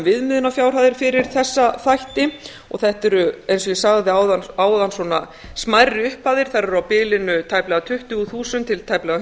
viðmiðunarfjárhæðir fyrir þessa þætti þetta eru eins og ég sagði áðan svona smærri upphæðir þær eru á bilinu tæplega tuttugu þúsund til tæplega